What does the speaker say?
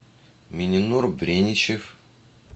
миненур бреничев